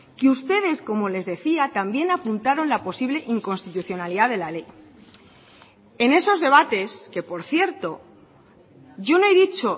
que ustedes como les decía también apuntaron la posible inconstitucionalidad de la ley en esos debates que por cierto yo no he dicho